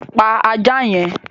Pa ajá yẹn!